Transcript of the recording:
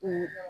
Ee